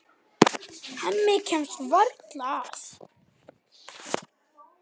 Hemmi kemst varla að.